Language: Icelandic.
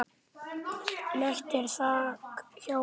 Lekt er þak hjá Jukka.